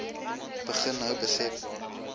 begin nou besef